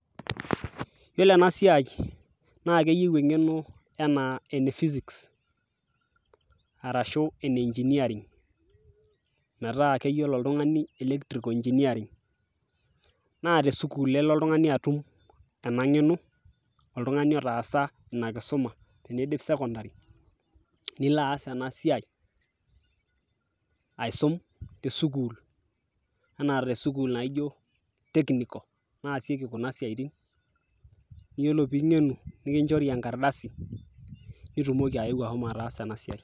yiolo ena siai naa keyieu eng'eno enaa ene physics arashu ene engineering metaa keyiolo oltung'ani electrical engineering naa tesukul elo oltung'ani atum ena ng'eno oltung'ani otaasa ina kisuma tinidip sekondari nilo aas ena siai aisum tesukul enaa tesukul naijo technical nasieki kuna siaitin yiolo ping'enu nikinchori enkardasi nitumoki ayeu ahomo ataasa ena siai.